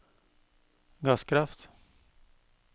gasskraft